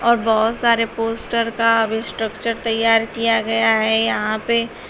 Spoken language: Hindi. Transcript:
पर बहोत सारे पोस्टर का स्ट्रक्चर तैयार किया गया है यहां पे--